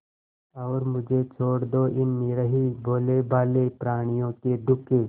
और मुझे छोड़ दो इन निरीह भोलेभाले प्रणियों के दुख